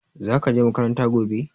Zaka je makaranta gobe